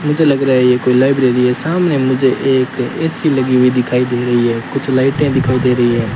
मुझे लग रहा है ये कोई लाइब्रेरी है सामने मुझे एक ए_सी लगी हुई दिखाई दे रही है कुछ लाइटें दिखाई दे रही है।